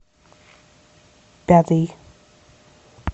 пятый